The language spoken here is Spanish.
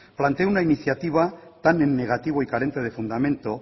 plantea una iniciativa tan en negativo y carente de fundamento